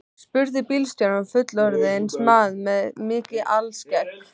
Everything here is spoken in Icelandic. spurði bílstjórinn, fullorðinn maður með mikið alskegg.